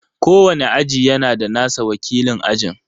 Kowane aji yana da nasa wakilin aji.